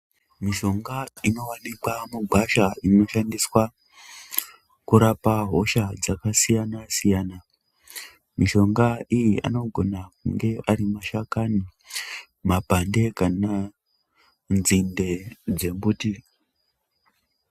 Mishonga inovanika mugwasha inoshandiswa pakurapa hosha dzakasiyana-siyana. Mishonga iyi anogona kunge ari mashakani, mapande kananzinde dzembuti.